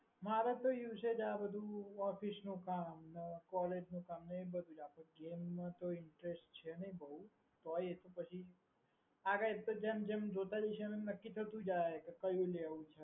મારે તો usage આ બધુ office નું કામ ને college નું કામ ને એ બધુ આપણે game મા તો interest છે નહીં બહુ તોય પછી આગડ એતો જેમ જેમ જોઈતા જઈશું એમ એમ નક્કી થતું જશે કે કયું લેવું છે.